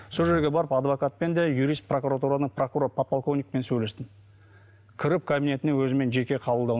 сол жерге барып адвокатпен де юрист прокуратураны прокурор подполковникпен сөйлестім кіріп кабинетіне өзімен жеке қабылдауын